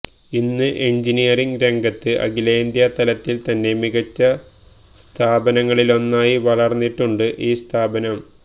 ഇന്ന് എൻജിനീയറിങ് രംഗത്ത് അഖിലേന്ത്യാതലത്തിൽ തന്നെ മികച്ച സ്ഥാപനങ്ങളിലൊന്നായി വളർന്നിട്ടുണ്ട് ഈ സ്ഥാപനം